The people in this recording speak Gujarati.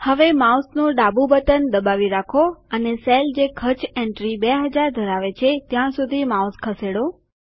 હવે માઉસ નું ડાબું બટન દબાવી રાખો અને કોષ જે ખર્ચ એન્ટ્રી ૨૦૦૦ ધરાવે છે ત્યાં સુધી માઉસ ખસેડો